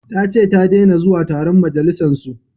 Ta ce ta dena zuwa taron majalisan su